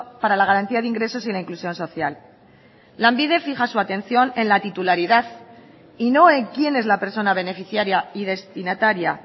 para la garantía de ingresos y la inclusión social lanbide fija su atención en la titularidad y no en quién es la persona beneficiaria y destinataria